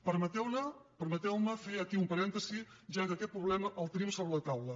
permeteu me fer aquí un parèntesi ja que aquest problema el tenim sobre la taula